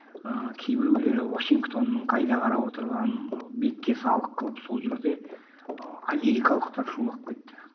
ыыы кейбіреулері вашингтонның қайда қарап отырғанын бетке салық қылып сол жерде ы америкалықтар шулап кетті